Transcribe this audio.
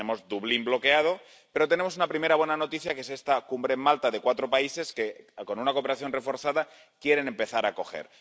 Tenemos Dublín bloqueado, pero tenemos una primera buena noticia, que es esta Cumbre en Malta de cuatro países que, con una cooperación reforzada, quieren empezar a acoger.